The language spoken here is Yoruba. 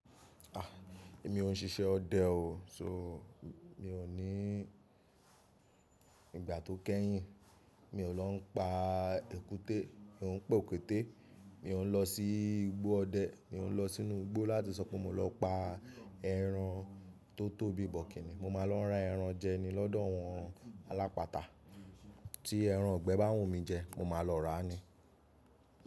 A! Èmi ò ń sisẹ́ ọdẹ o. So, mi ò ní ìgbà tó kẹ́yìn mi ò lọ pa èkúté, mi ò ń pè òkété, mi ò ń lọ sí igbó ọdẹ, mi ò ń lọ sínú igbó láti sọ pé mo lọ pa ẹran tó tóbi bọ̀kínní. Mo máa lọ ran ẹran jeni lọ́dọ̀ àwọn alápàtà. Tí ẹran igbẹ́ bá wù mí jẹ, mo máa lọ rà á ni.